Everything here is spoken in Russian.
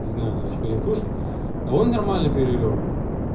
не знаю надо ещё переслушать а он нормально перевёл